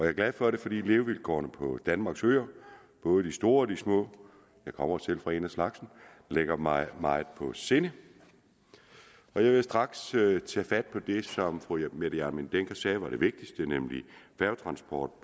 er glad for det fordi levevilkårene på danmarks øer både de store og de små jeg kommer selv fra en af slagsen ligger mig meget på sinde jeg vil straks tage fat på det som fru mette hjermind dencker sagde var det vigtigste nemlig færgetransport